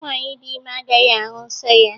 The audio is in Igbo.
Nwaanyị dị ime agaghị ahụ nsọ ya.